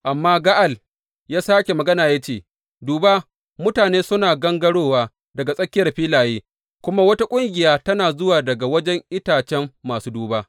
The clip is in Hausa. Amma Ga’al ya sāke magana ya ce, Duba, mutane suna gangarowa daga tsakiyar filaye, kuma wata ƙungiya tana zuwa daga wajen itacen masu duba.